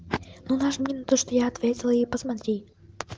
ну нажми на то что я ответила и посмотри